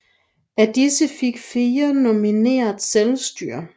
Af disse fik fire nominelt selvstyre